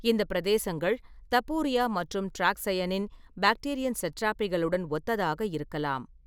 இந்த பிரதேசங்கள் தபூரியா மற்றும் ட்ராக்ஸையனின் பாக்டிரியன் சட்ராபிகளுடன் ஒத்ததாக இருக்கலாம்.